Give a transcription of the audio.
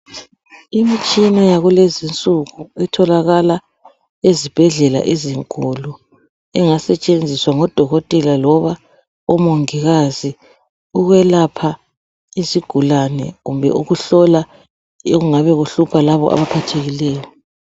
Imitshina yakulezi insuku etholakala ezibhedlela ezinkulu engasetshenziswa ngodokotela loba omongikazi ukwelapha izigulane kumbe ukuhlola okungabe kuhlupha labo abaphathekileyo.